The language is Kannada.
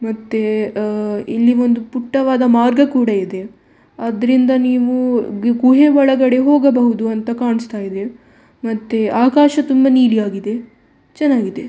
ಮತ್ತೆ ಅಹ್ ಇಲ್ಲಿ ಒಂದು ಪುಟ್ಟವಾದ ಮಾರ್ಗ ಕೂಡ ಇದೆ ಅದ್ರಿಂದ ನೀವು ಗುಹೆ ಒಳಗಡೆ ಹೋಗಬಹುದು ಅಂತ ಕಾಣಿಸ್ತ ಇದೆ ಮತ್ತೆ ಆಕಾಶ ತುಂಬ ನೀಲಿಯಾಗಿದೆ ಚೆನ್ನಾಗಿದೆ.